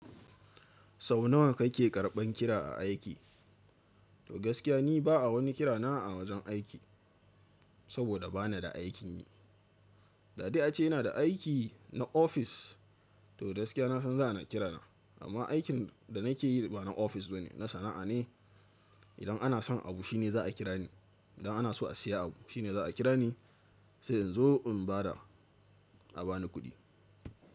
Sau nawa kake karɓan kira a aiki? To gaskiya ni ba a wani kira na a wajen aiki, saboda bana da aikin yi. Da dai a ce ina da aiki na ofis to gaskiya na san za ana kira na, amma aikin da nake yi ba na ofis ba ne, na sana'a ne. Idan ana son abu shine za a kira ni. Idan ana so a siya abu shine za a kira ni, sai in zo in ba da a bani kuɗi.